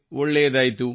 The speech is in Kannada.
ಒಳ್ಳೆಯದಾಯಿತು